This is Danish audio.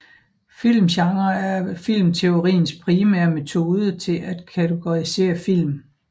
Filmgenre er filmteoriens primære metode til at kategorisere film